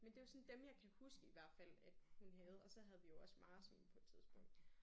Men det var sådan dem jeg kan huske i hvert fald at hun havde. Og så havde vi jo også marsvin på et tidspunkt